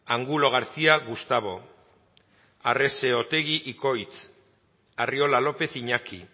angulo garcía gustavo arrese otegi ikoitz arriola lópez iñaki